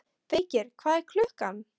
Feykir, hvað er klukkan?